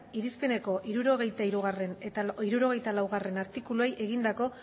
irizpeneko hirurogeita hirugarrena eta hirurogeita laugarrena artikuluei egindako